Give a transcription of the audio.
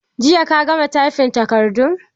Jiya ka gama taifin takardun?